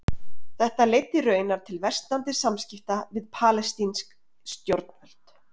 Þetta leiddi raunar til versnandi samskipta við palestínsk stjórnvöld.